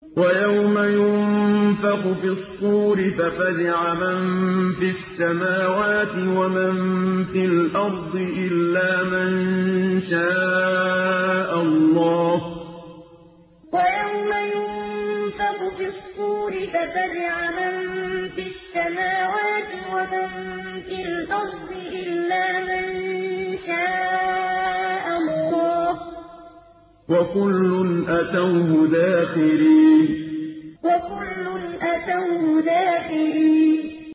وَيَوْمَ يُنفَخُ فِي الصُّورِ فَفَزِعَ مَن فِي السَّمَاوَاتِ وَمَن فِي الْأَرْضِ إِلَّا مَن شَاءَ اللَّهُ ۚ وَكُلٌّ أَتَوْهُ دَاخِرِينَ وَيَوْمَ يُنفَخُ فِي الصُّورِ فَفَزِعَ مَن فِي السَّمَاوَاتِ وَمَن فِي الْأَرْضِ إِلَّا مَن شَاءَ اللَّهُ ۚ وَكُلٌّ أَتَوْهُ دَاخِرِينَ